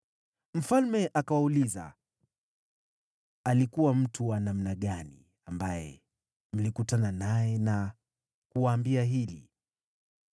Mfalme akawauliza, “Alikuwa mtu wa namna gani ambaye mlikutana naye, akawaambia hili?”